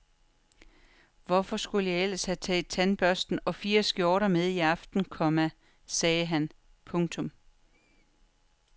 Hvorfor skulle jeg ellers have taget tandbørste og fire skjorter med i aften, komma sagde han. punktum